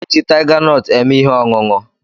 E ji tiga nọt eme ihe ọṅụṅụ